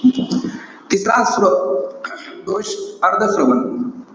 तिसरा स्त्रो~ दोष, अर्धंश्रवण.